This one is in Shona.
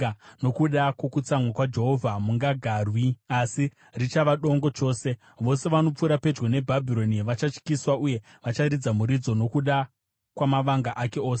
Nokuda kwokutsamwa kwaJehovha hamungagarwi, asi richava dongo chose. Vose vanopfuura pedyo neBhabhironi vachatyiswa, uye vacharidza muridzo nokuda kwamavanga ake ose.